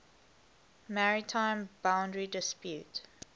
maritime boundary dispute